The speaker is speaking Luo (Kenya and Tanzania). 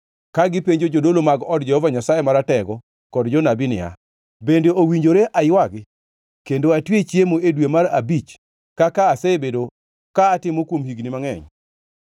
ka gipenjo jodolo mag od Jehova Nyasaye Maratego kod jonabi niya, “Bende owinjore aywagi kendo atwe chiemo e dwe mar abich kaka asebedo ka atimo kuom higni mangʼeny?”